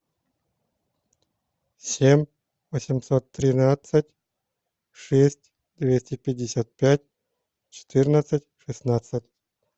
семь восемьсот тринадцать шесть двести пятьдесят пять четырнадцать шестнадцать